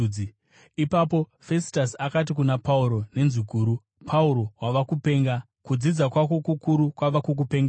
Ipapo Fesitasi akati kuna Pauro nenzwi guru, “Pauro, wava kupenga! Kudzidza kwako kukuru kwava kukupengesa.”